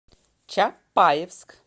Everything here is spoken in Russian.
чапаевск